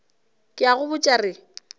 ke a go botša re